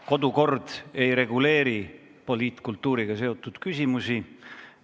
Kodukord ei reguleeri poliitkultuuriga seotud küsimusi.